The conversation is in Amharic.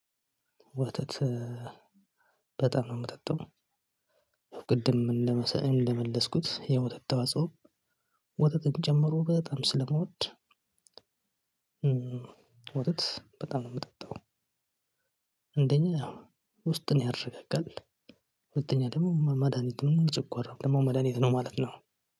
ወተት በጣም ነው የምጠጣው። ቅድም እንደመለስኩት የወተት ተዋጽኦ ወተትን ጨምሮ በጣም ስለምወድ። ወተት በጣም ነው የምጠጣው። አንደኛ ውስጥን ያረጋግጣል። ሁለተኛ ደግሞ መድሃኒት ጨጓራ ደግሞ መድሃኒት ነው ማለት ነው።